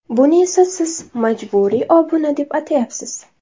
Buni esa siz majburiy obuna deb atayapsiz.